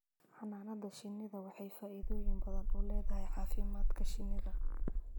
Xannaanada shinnidu waxay faa'iidooyin badan u leedahay caafimaadka dadka